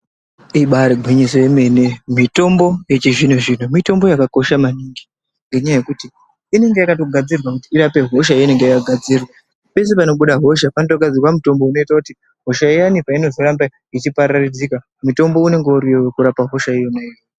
Ibari gwinyiso yemene mitombo yechizvino zvino mitombo yakakosha maningi ngenyaya yekuti inenge yakatogadzirwa kuti irape hosha yeinenge yagadzirwa pese panobuda hosha panotogadzirwa mutombo unoita kuti hosha iyani painozoramba ichipararidzika mutombo unonga uriyo wekurapa hosha iyona iyoyo.